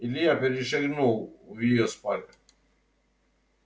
илья перешагнул в её спальню